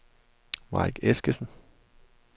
Mike Eskesen